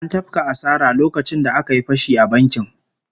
An tafka asara lokacin da aka yi fashi a bankin